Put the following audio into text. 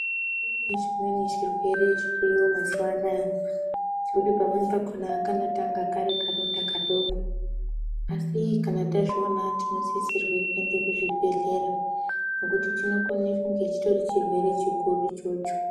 Kune chimweni chirwere chiriyo mazuva anaya chekuti pamweni pakona kano tanga kari karonda kadoko asi kana tazviona tino sisirwe kuende ku zvibhedhlera nekuti chinokone kunge chitori chirwere chikuru ichocho.